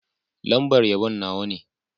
Lambar yabon Nawa ne.